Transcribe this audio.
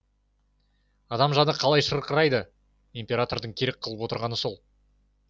адам жаны қалай шырқырайды императордың керек қылып отырғаны сол